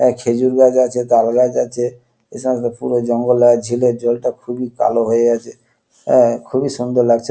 এ খেজুর গাছ আছে তাল গাছ আছে। এ সমস্ত পুরো জঙ্গল আর ঝিলের জলটা খুবই কালো হয়ে আছে। এ- খুবই সুন্দর লাগছে।